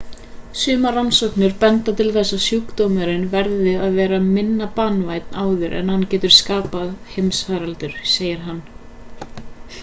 sumar rannsóknir benda til þess að sjúkdómurinn verði að verða minna banvænn áður en hann getur skapað heimsfaraldur sagði hann